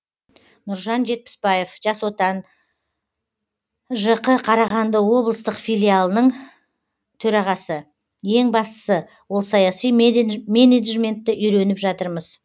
нұржан жетпісбаев жас отан жқ қарағанды облыстық филиалының төрағасы ең бастысы ол саяси менеджментті үйреніп жатырмыз